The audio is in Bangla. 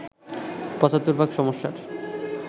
৭৫ ভাগ সমস্যার